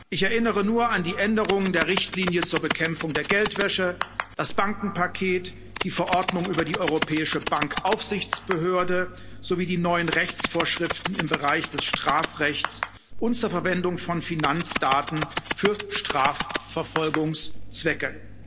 Ich erinnere nur an die Änderung der Richtlinie zur Bekämpfung der Geldwäsche, das Bankenpaket, die Verordnung über die Europäische Bankenaufsichtsbehörde sowie die neuen Rechtsvorschriften im Bereich des Strafrechts und zur Verwendung von Finanzdaten für Strafverfolgungszwecke.